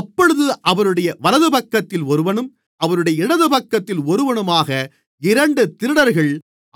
அப்பொழுது அவருடைய வலதுபக்கத்தில் ஒருவனும் அவருடைய இடதுபக்கத்தில் ஒருவனுமாக இரண்டு திருடர்கள்